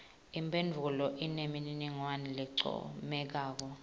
imphendvulo inemininingwane lencomekako